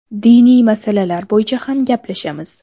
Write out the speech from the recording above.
Diniy masalalar bo‘yicha ham gaplashamiz.